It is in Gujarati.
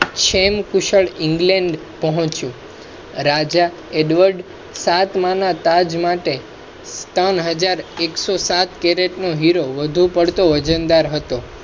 ક્ષેમ કુશળ ઇંગ્લૅન્ડ પોહ્ચ્યો. રાજા એડવર્ડ સાતમા ના તાજ માટે. ત્રણ હજાર એક્સો સાત કૅરેટ નો હીરો વધુ પડતો વજનદાર હતો.